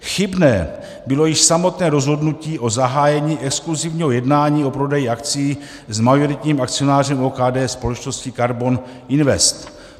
Chybné bylo již samotné rozhodnutí o zahájení exkluzivního jednání o prodeji akcií s majoritním akcionářem OKD, společností KARBON INVEST.